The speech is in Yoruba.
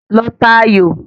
Lọ ta aayò!